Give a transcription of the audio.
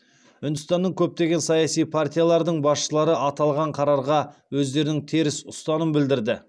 үндістанның көптеген саяси партиялардың басшылары аталған қарарға өздерінің теріс ұстаным білдірді